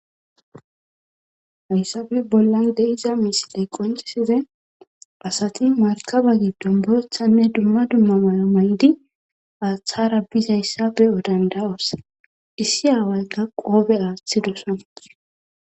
Hayssafe bollan deiza misiley qonciside pasati markaba giddon boethanne dumma dumma mayo may'di aaththara bizayssafe odanda'osa issi aaway ga qoobe aaththidosan.